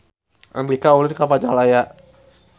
Andika ulin ka Majalaya